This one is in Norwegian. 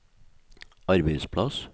arbeidsplass